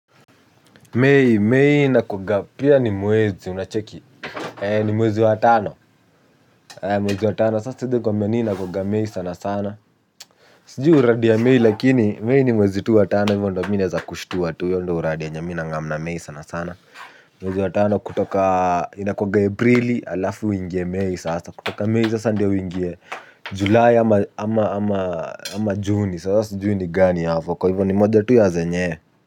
May, may inakuaga pia ni mwezi unacheki ni mwezi wa tano mwezi watano sasa hivyo mweni ina kuga mei sana sana siji uradia mei lakini mei ni mwezi tu watano hivyo ndo mine za kushtu watu hivyo ndo uradia nyamina nga mna mei sana sana mwezi watano kutoka ina kuaga ibrili alafu wingie mei sasa kutoka mei sasa ndo uingie julae ama ama ama juni sasa juni gani hafo kwa hivyo ni moja tu ya zenye.